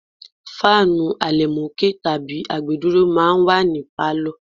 Fáànù àlẹ̀mókè tàbí àgbédúró máa ń wà ní pálọ̀.